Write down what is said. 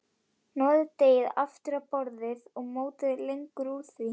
Hnoðið deigið aftur á borði og mótið lengjur úr því.